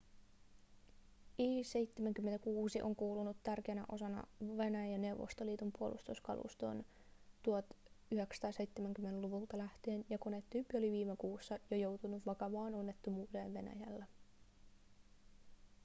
il-76 on kuulunut tärkeänä osana venäjän ja neuvostoliiton puolustuskalustoon 1970-luvulta lähtien ja konetyyppi oli viime kuussa jo joutunut vakavaan onnettomuuteen venäjällä